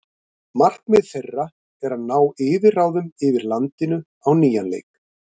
Markmið þeirra er að ná yfirráðum yfir landinu á nýjan leik.